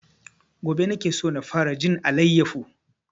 Gobe nake so na fara jin alayyafo